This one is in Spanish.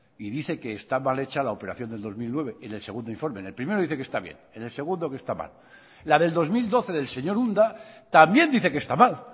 y dice que está mal hecha la operación del dos mil nueve en el segundo informe en el primero dice que está bien en el segundo que está mal la del dos mil doce del señor unda también dice que está mal